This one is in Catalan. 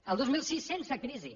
al dos mil sis sense crisi